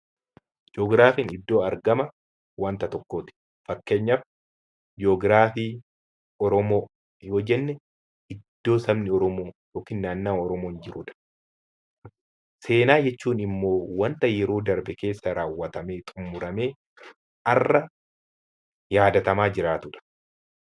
Ji'ogiraafiin iddoo argama waanta tokkooti. Fakkeenyaaf ji'ogiraafii Oromoo yoo jenne, iddoo sabni Oromoo yookiin naannaa Oromoon jirudha. Seenaa jechuun immoo waanta yeroo darbe keessa raawwatamee xumuramee har'a yaadatamaa jiraatudha.